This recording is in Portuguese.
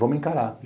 Vamos encarar.